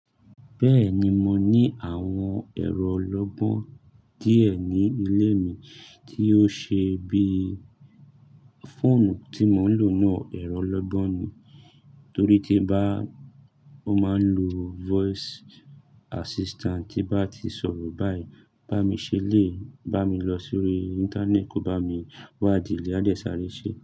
Bẹ́ẹ̀ni, mo ní àwọn ẹ̀rọ ọlọ́gbọ́n díẹ̀ ní ilé mi tí ó ṣe bí, fóònù tí mò ń lò náà ẹ̀rọ ọlọ́gbọ́n ni, torí tí nbá, ó máa ń lo voice assistant tí bá ti sọ̀rọ̀ báyìí, bá mi ṣẹlẹ, bá mi lọ sórí Íńtánẹ́ẹ̀tì, kó bá mi wá idìẹ a de sáré ṣe.